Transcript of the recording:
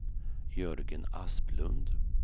Jörgen Asplund